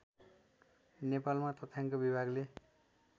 नेपालमा तथ्याङ्क विभागले